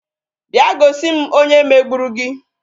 Bịa gosi m onye megburu gị